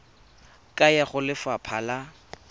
ka ya go lefapha la